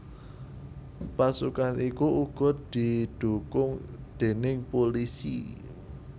Pasukan iku uga didhukung déning pulisi